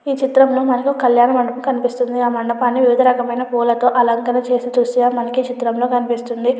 ఈ చిత్రంలో మనకి ఒక కళ్యాణ మండపం కనిపిస్తున్న కళ్యాణ మండపానికి వివిధ రకాల పూల అలంకరించ చేసి మనకి ఈ చిత్రం లో తెలుస్తుంది.